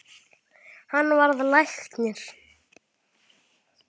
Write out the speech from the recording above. Hann varð læknir.